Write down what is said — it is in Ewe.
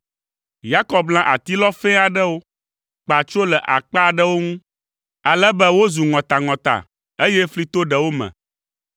Yakob lã atilɔ fɛ̃ aɖewo, kpa tsro le akpa aɖewo ŋu, ale be wozu ŋɔtaŋɔta, eye fli to ɖewo me.